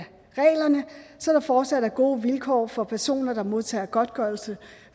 reglerne så der fortsat er gode vilkår for personer der modtager godtgørelse